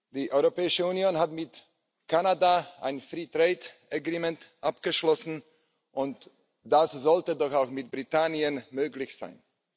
Die Europäische Union hat mit Kanada ein Freihandelsabkommen abgeschlossen, und das sollte doch auch mit Großbritannien möglich sein.